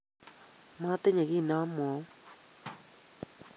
matinye kiit ne amwaun